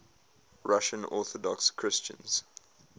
russian orthodox christians